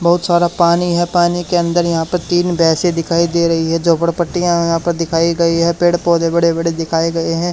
बहुत सारा पानी है पानी के अंदर यहां पर तीन भैंसे दिखाई दे रही है झोपड़ पट्टिया यहा पर दिखाई गई है पेड़ पौधे बड़े बड़े दिखाए गए हैं।